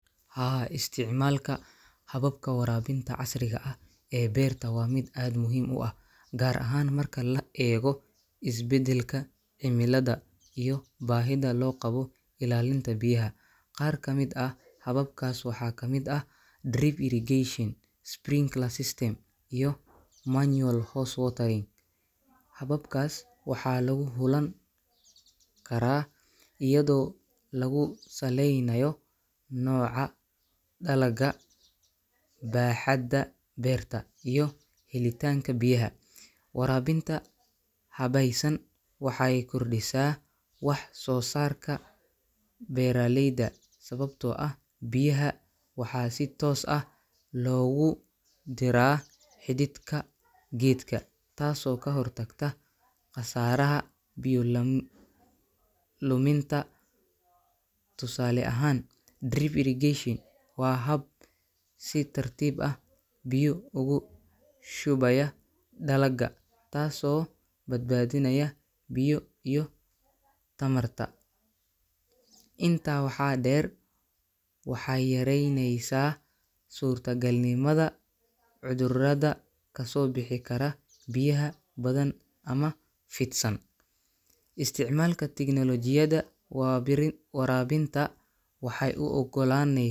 Haa, isticmaalka hababka waraabinta casriga ah ee beerta waa mid aad muhiim u ah, gaar ahaan marka la eego isbeddelka cimilada iyo baahida loo qabo ilaalinta biyaha. Qaar ka mid ah hababkaas waxaa ka mid ah drip irrigation, sprinkler system, iyo manual hose watering. Hababkaas waxaa lagu xulan karaa iyadoo lagu saleynayo nooca dalagga, baaxadda beerta, iyo helitaanka biyaha. Waraabinta habaysan waxay kordhisaa wax-soo-saarka beeraleyda sababtoo ah biyaha waxaa si toos ah loogu diraa xididka geedka, taasoo ka hortagta khasaaraha biyo lam luminta. Tusaale ahaan, drip irrigation waa hab si tartiib ah biyo ugu shubaya dalagga, taasoo badbaadinaya biyo iyo tamarba. Intaa waxaa dheer, waxaay yareyneysaa suurtagalnimada cudurrada kasoo bixi kara biyaha badan ama fidsan. Isticmaalka tignoolajiyada waa birin waraabinta waxay u oggolaaney.